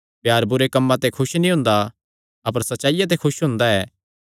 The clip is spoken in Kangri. प्यार बुरे कम्मां ते खुस नीं हुंदा अपर सच्चाईया ते खुस हुंदा ऐ